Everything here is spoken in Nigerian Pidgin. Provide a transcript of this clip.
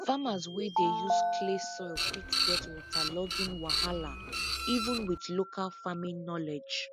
farmers wey dey use clay soil fit get waterlogging wahala even with local farming knowledge